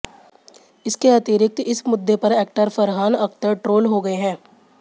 इसके अतिरिक्त इस मुद्दे पर एक्टर फरहान अख्तर ट्रोल हो गए हैं